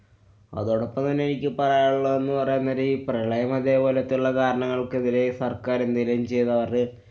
അതോടൊപ്പം തന്നെ എനിക്ക് പറയാനുള്ളതെന്നു പറയാന്‍ നേരം ഈ പ്രളയം അതെപോലത്തുള്ളകാരണങ്ങള്‍ക്കെതിരെ സര്‍ക്കാര്‍ എന്തെങ്കിലും ചെയ്‌താല്‍ അത്